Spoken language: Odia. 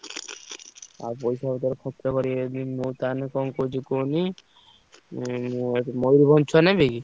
ଆଉ ପଇସା ପତ୍ର ଖର୍ଚ୍ଚ କରିବେ ଯଦି ମୁଁ ନ ତାହେନେ କଣ କହୁଛି କୁହନି ଆଁ ମୟୂରଭଞ୍ଜ ଛୁଆ ନେବି କି?